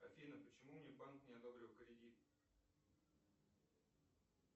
афина почему мне банк не одобрил кредит